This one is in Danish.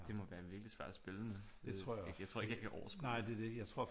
Det må være virkelig svært at spille med jeg tror ikke jeg kan overskue det